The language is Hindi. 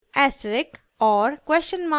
#* ऐस्टरिक और